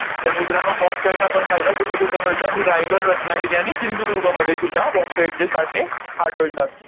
तर मित्रांनो, bauxite आपण पाहिलं कुठेकुठे मिळतं आणि रायगड, रत्नागिरी आणि सिंधुदुर्गमध्ये सुद्धा bauxite चे साठे आढळतात.